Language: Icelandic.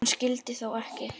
Hann skyldi þó ekki.